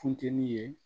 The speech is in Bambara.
Funteni ye